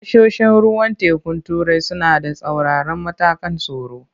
Tashoshin ruwan tekun turai suna da tsauraran matakan tsaro.